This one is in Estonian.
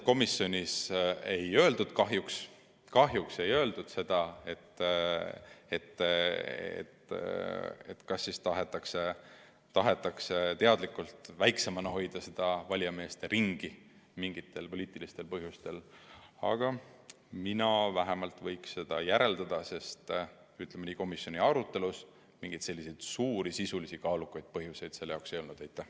Komisjonis otseselt kahjuks ei öeldud, kas tahetakse teadlikult valijameeste ringi väiksemana hoida mingitel poliitilistel põhjustel, aga vähemalt mina kipun seda järeldama, sest komisjonis arutledes mingeid suuri sisulisi kaalukaid põhjuseid selle ettepaneku vastu ei esitatud.